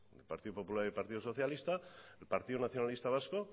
el partido popular y el partido socialista el partido nacionalista vasco